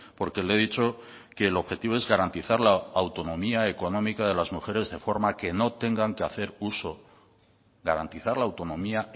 porque le he dicho que el objetivo es garantizar la autonomía económica de las mujeres de forma que no tengan que hacer uso garantizar la autonomía